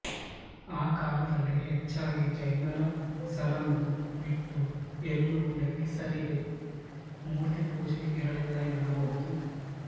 ಆ ಕಾಲದಲ್ಲಿ ಹೆಚ್ಚಾಗಿ ಜೈನರಸರನ್ನು ಬಿಟ್ಟು ಎಲ್ಲೂ ಲೆಕ್ಕೆಸಿರಿಗೆ ಮೂರ್ತಿ ಪೂಜೆ ಇರಲಿಲ್ಲ ಎನ್ನಬಹುದು